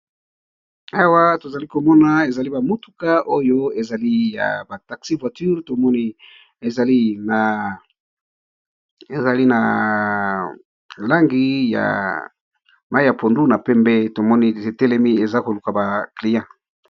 Awa tozali komona ezali bamotuka oyo ezali ya bataxi-voiture tomoni ezali na langi ya mai ya pondu ,na pembe. Tomoni zetelemi eza koluka ba clients.